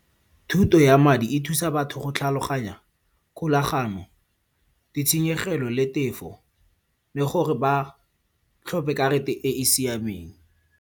Thuto ya madi e thusa batho go tlhaloganya kgolaganyo, ditshenyegelo le tefo le gore ba tlhophe karata e e siameng.